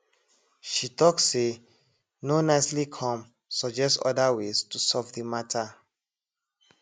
she talk say no nicely come suggest other ways to solve the matter